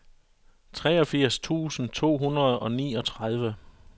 treogfirs tusind to hundrede og niogtredive